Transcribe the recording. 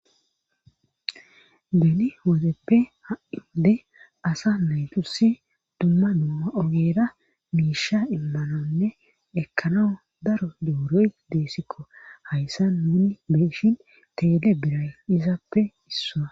beni woozeppe ha7ide asa meytusi dumma noa ogeera miisha immanonne ekkano daro dewuroy deessikko hayssa nuni beeshin teele biray izaappe issaa